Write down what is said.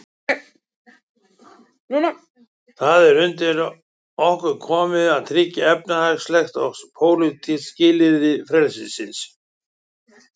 Það er undir okkur komið að tryggja efnisleg og pólitísk skilyrði frelsisins.